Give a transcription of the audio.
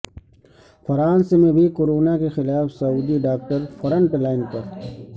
France میں بھی corona کے خلاف سعودی ڈاکٹر فرنٹ لائن پر